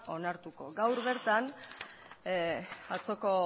onartuko gaur bertan atzoko